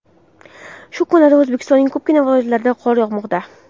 Shu kunlarda O‘zbekistonning ko‘pgina viloyatlarida qor yog‘moqda .